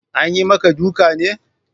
Anyi maka duka ne?